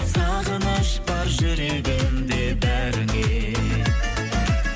сағыныш бар жүрегімде бәріңе